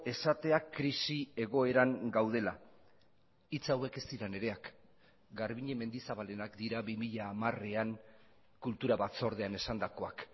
esatea krisi egoeran gaudela hitz hauek ez dira nireak garbiñe mendizabalenak dira bi mila hamarean kultura batzordean esandakoak